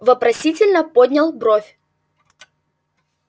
вопросительно поднял бровь